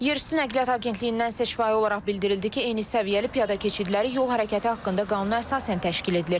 Yerüstü Nəqliyyat Agentliyindən şifahi olaraq bildirildi ki, eyni səviyyəli piyada keçidləri yol hərəkəti haqqında qanuna əsasən təşkil edilir.